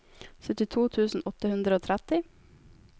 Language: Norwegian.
syttito tusen åtte hundre og tretti